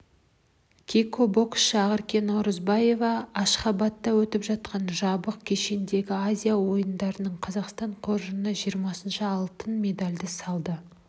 кикбоксшы ақерке наурызбаева ашхабадта өтіп жатқан жабық кешендегі азия ойындарында қазақстан қоржынына жиырмасыншы алтын медальді салды